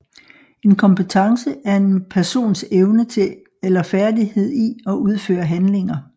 En kompetence er en persons evne til eller færdighed i at udføre handlinger